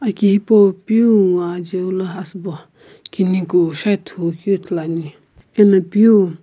aki hipou peu nguo ajeu la asii bo kusho ithulu amo peu.